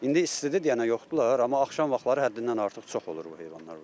İndi istidir deyənə yoxdular, amma axşam vaxtları həddindən artıq çox olur bu heyvanlar burda.